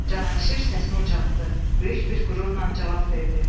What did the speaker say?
Cavanşir səsini ucaltdı, böyük bir qürurla cavab verdi: